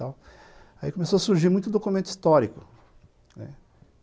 Aí começou a surgir muito documento histórico, né.